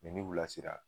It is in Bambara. ni u lasera